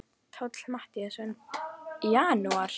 Páll Matthíasson: Í janúar?